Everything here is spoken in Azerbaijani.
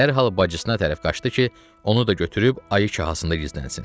Dərhal bacısına tərəf qaçdı ki, onu da götürüb ayı kahasında gizlənsin.